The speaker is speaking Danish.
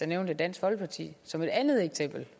nævnte dansk folkeparti som et andet eksempel